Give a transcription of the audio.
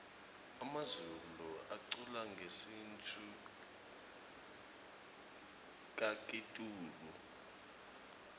emazulu aculangesintfu kakitulu